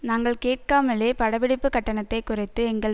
நாங்கள் கேட்காமலே படப்பிடிப்பு கட்டணத்தை குறைத்து எங்கள்